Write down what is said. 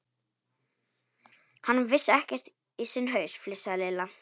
Hann vissi ekkert í sinn haus, flissaði Lilla.